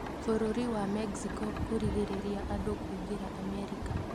Bũrũri wa Mexico kũrigĩrĩria andũ kũingĩra Amerika